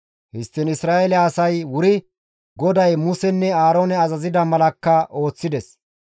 Histtiin Isra7eele asay wuri GODAY Musenne Aaroone azazida malakka ooththides.